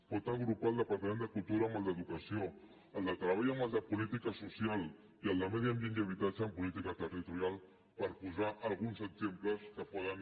pot agrupar el departament de cultura amb el d’educació el de treball amb el de política social i el de medi ambient i habitatge amb política territorial per posar alguns exemples que poden